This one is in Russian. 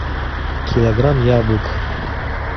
килограмм яблок